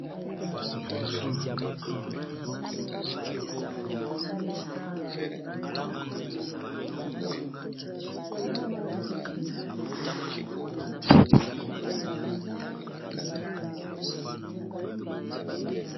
Liboso nanga awa nazokomona ndako moko, ndako yango eza ya pembe ya kitoko toiture na bango eza ya batwile.